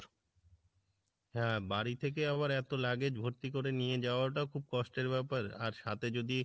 হ্যাঁ বাড়ি থেকে আবার এতো luggage ভর্তি করে নিয়ে যাওয়াটা খুব কষ্টের ব্যাপার আর সাথে যদি